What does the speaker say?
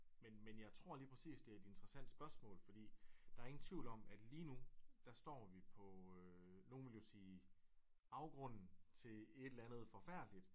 Men men jeg tror lige præcis det er et interessant spørgsmål fordi der er ingen tvivl om at lige nu der står vi på nogen ville jo sige afgrunden til et eller andet forfærdeligt